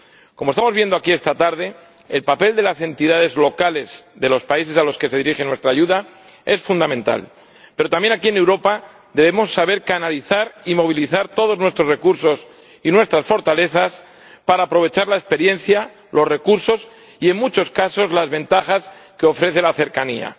Como estamos viendo aquí esta tarde, el papel de las entidades locales de los países a los que se dirige nuestra ayuda es fundamental, pero también aquí en Europa debemos saber canalizar y movilizar todos nuestros recursos y nuestras fortalezas para aprovechar la experiencia, los recursos y, en muchos casos, las ventajas que ofrece la cercanía.